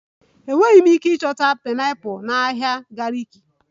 Enweghị m ike ịchọta pineapples na ahịa gariki